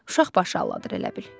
Uşaq başı aldadır elə bil.